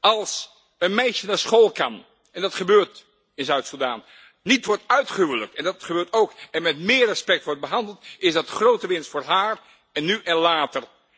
Als een meisje naar school kan en dat gebeurt in Zuid-Sudan niet wordt uitgehuwelijkt en dat gebeurt ook en met meer respect wordt behandeld, is dat grote winst voor haar, nu en later.